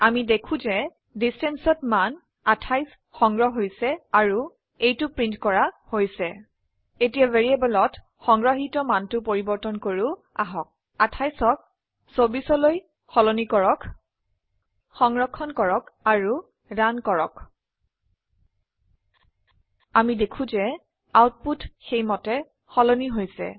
আমি দেখো যে distanceঅত মান 28 সংগ্ৰহ হৈছে আৰু এইটো প্ৰিন্ট কৰা হৈছে এতিয়া ভ্যাৰিয়েবলত সংগ্ৰহিত মানটো পৰিবৰ্তন কৰো আহক ২৮অক ২৪লৈ সলনি কৰক সংৰক্ষণ কৰক আৰু ৰান কৰক আমি দেখো যে আউটপুট সেইমতে সলনি হৈছে